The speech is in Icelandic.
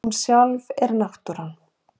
Hún sjálf er náttúran.